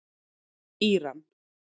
Íran